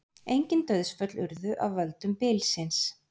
Engin dauðsföll urðu af völdum bylsins